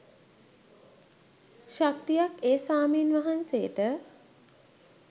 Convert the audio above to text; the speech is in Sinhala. ශක්තියක් ඒ ස්වාමීන් වහන්සේට